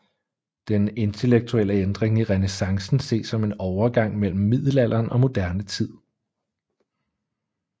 Den intellektuelle ændring i renæssancen ses som en overgang mellem middelalderen og moderne tid